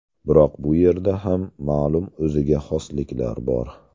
Biroq bu yerda ham ma’lum o‘ziga xosliklar bor.